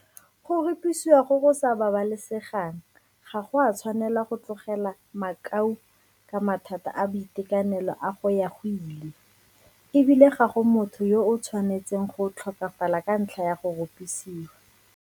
Go rupisiwa go go sa babalesegang ga go a tshwanela go tlogela makau ka mathata a boitekanelo a go ya go ile, e bile ga go motho yo a tshwanetseng go tlhokafala ka ntlha ya go rupisiwa.